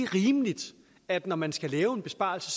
rimeligt at når man skal lave en besparelse